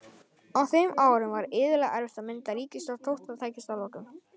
Á þeim árum var iðulega erfitt að mynda ríkisstjórn þótt það tækist að lokum.